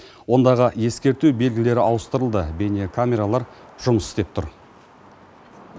ондағы ескерту белгілері ауыстырылды бейнекамералар жұмыс істеп тұр